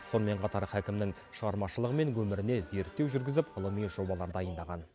сонымен қатар хәкімнің шығармашылығы мен өміріне зерттеу жүргізіп ғылыми жобалар дайындаған